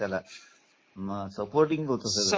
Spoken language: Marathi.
त्याला हे करायचे काय म्हणतात त्याला ना सपोर्टींग होत सगळं ना